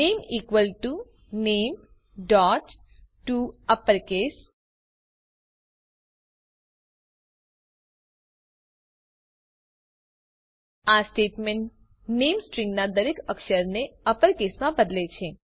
નામે equal to nametoUpperCase આ statement નામે સ્ટ્રીંગના દરેક અક્ષરને અપર કેસમાં બદલે છે